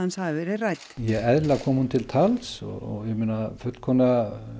hafi verið rædd ja eðlilega kom hún til tals og ég meina fullkomlega